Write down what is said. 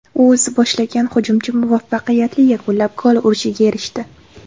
U o‘zi boshlagan hujumchi muvaffaqiyatli yakunlab, gol urishga erishdi.